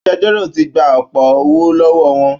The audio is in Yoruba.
Agbẹjọ́rò ti gba ọ̀pọ̀ owó lọ́wọ́ wọn